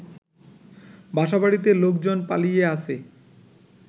বাসাবাড়িতে লোকজন পালিয়ে আছে